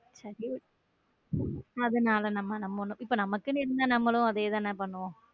சர அதனால நம்ம இப்போ நமக்குன்னு இருந்தா நம்மளும் அதே தான பண்ணுவோம்.